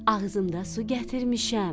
Ağzımda su gətirmişəm.